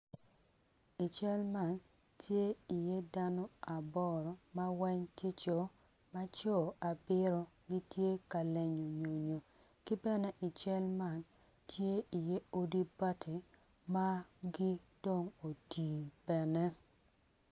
I cal man tye iye dano aboro ma weng tye co ma co abiro gitye ka lenyo nyonyo ki bene i cal man tye iye odi bati ma gin dong oti bene.